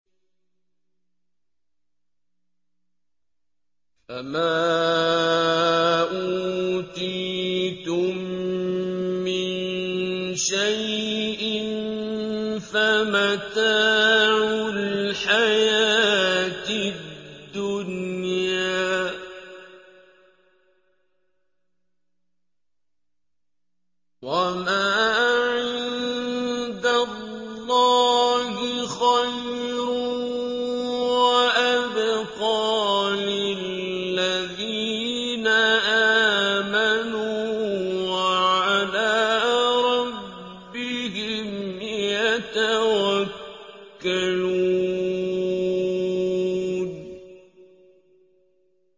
فَمَا أُوتِيتُم مِّن شَيْءٍ فَمَتَاعُ الْحَيَاةِ الدُّنْيَا ۖ وَمَا عِندَ اللَّهِ خَيْرٌ وَأَبْقَىٰ لِلَّذِينَ آمَنُوا وَعَلَىٰ رَبِّهِمْ يَتَوَكَّلُونَ